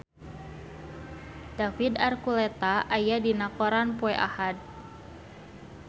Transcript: David Archuletta aya dina koran poe Ahad